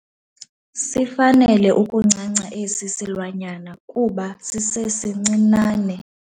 Sifanele ukuncanca esi silwanyana kuba sisesincinane.